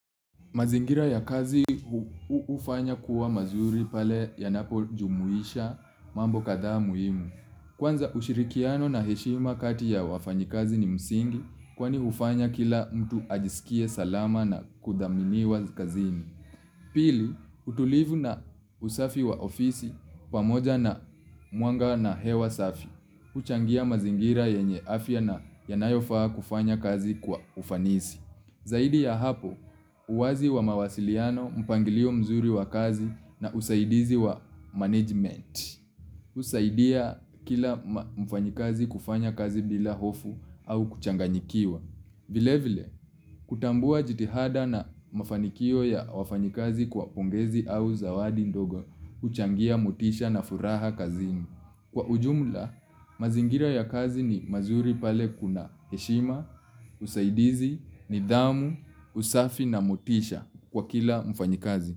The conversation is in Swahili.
Mazingira ya kazi hufanya kuwa mazuri pale ya napo jumuisha mambo kadhaa muhimu. Kwanza ushirikiano na heshima kati ya wafanya kazi ni msingi kwani hufanya kila mtu ajisikie salama na kuthaminiwa kazini. Pili, utulivu na usafi wa ofisi pamoja na mwanga na hewa safi. Uchangia mazingira yenye afya na yanayofaa kufanya kazi kwa ufanisi. Zaidi ya hapo, uwazi wa mawasiliano, mpangilio mzuri wa kazi na usaidizi wa management. Husaidia kila mfanyakazi kufanya kazi bila hofu au kuchanganyikiwa. Vile vile, kutambua jitihada na mafanikio ya wafanyakazi kwa pongezi au zawadi ndogo, uchangia motisha na furaha kazini. Kwa ujumla, mazingira ya kazi ni mazuri pale kuna heshima, usaidizi, nidhamu, usafi na motisha kwa kila mfanyakazi.